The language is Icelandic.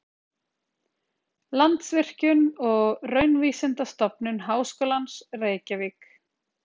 Landsvirkjun og Raunvísindastofnun Háskólans, Reykjavík.